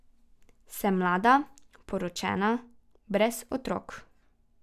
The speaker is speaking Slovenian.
Sem mlada, poročena, brez otrok.